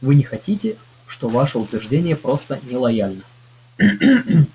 вы не находите что ваше утверждение просто нелояльно